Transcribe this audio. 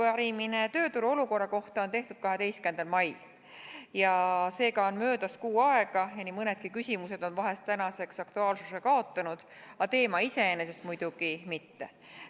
Arupärimine tööturu olukorra kohta esitati 12. mail, seega on möödas kuu aega ja nii mõnedki küsimused on vahest tänaseks aktuaalsuse kaotanud, aga teema iseenesest muidugi mitte.